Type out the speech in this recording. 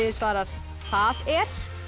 svarar það er